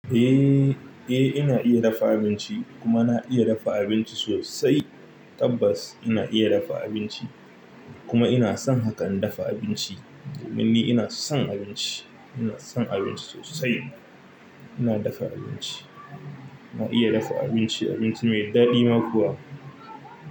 Eh, eh ina iya dafa abinci kuma na iya dafa abinci sosai tabbas ina iya dafa abinci kuma ina son hakan dafa abinci domin ni ina son abinci ina son abinci sosai ina dafa abinci ina iya dafa abinci abinci me daɗi ma kuwa.